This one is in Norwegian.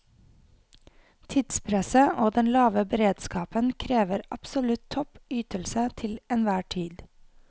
Tidspresset og den lave beredskapen krever absolutt topp ytelse til enhver tid.